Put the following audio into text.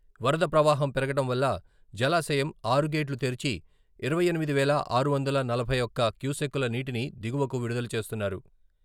వరద ప్రవాహం పెరగడం వల్ల జలాశయం ఆరు గేట్లు తెరిచి ఇరవై ఎనిమిది వేల ఆరు వందల నలభై ఒక్క క్యూసెక్కుల నీటిని దిగువకు విడుదల చేస్తున్నారు.